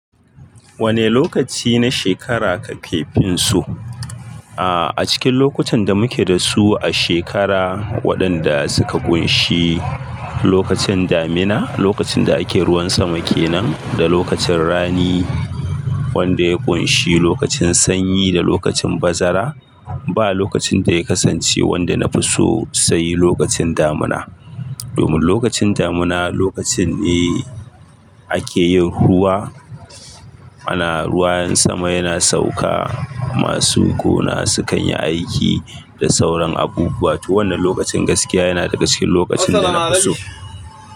Wane lokaci na shekara kake fin so? A'a, a cikin lokutan da muke da su a shekara waɗanda suka kunshi lokacin damina, lokacin da ake ruwan sama kenan da lokacin rani wanda ya kunshi lokacin sanyi da lokacin bazara, ba lokacin da ya kasance wanda na fi so sai lokacin damina. Domin lokacin damina lokacin ne ake yin ruwa. Ana ruwayen sama yana sauka, masu gona sukan yi aiki da sauran abubuwa. To wannan lokacin gaskiya yana daga cikin lokacin da na fi so.